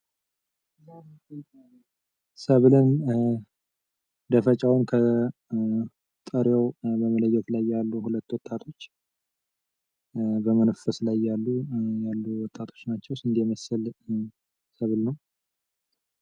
ሰብልን ደፍጫውን ከጥሬው በመለየት ላይ ያሉ ሁለት ወጣቶች በመንፈስ ላይ ያሉ ወጣቶች ናቸው። እንዲህ ስንዴ የመሰለ ሰብል ነው።